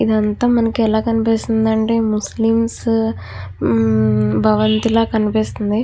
ఇదంతా మనకు ఎట్లా కనిపిస్తుంది అంటే ముస్లిమ్స్ భవన్ ఇలాగ కనిపిస్తుంది.